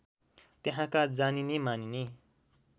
त्यहाँका जानिने मानिने